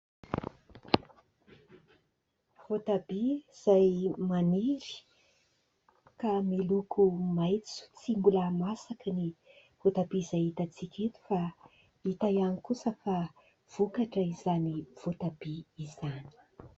Voatabia izay maniry ka miloko maitso, tsy mbola masaka ny voatabia izay hitantsika eto fa hita ihany kosa fa vokatra izany voatabia izany.